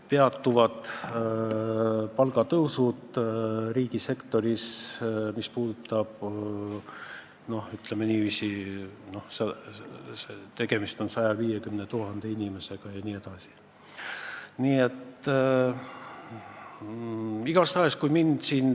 Peatuvad palgatõusud riigisektoris, mis puudutab 150 000 inimest, jne.